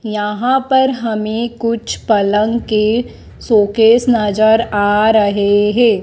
यहां पर हमें कुछ पलंग के सोकेस नजर आ रहे हैं।